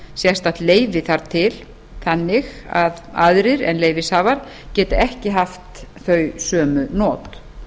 sérstakt leyfi þarf til þannig að aðrir en leyfishafar geti ekki haft þau sömu not